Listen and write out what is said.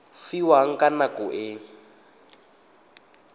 fiwang ka nako e a